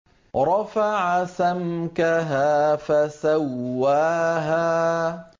رَفَعَ سَمْكَهَا فَسَوَّاهَا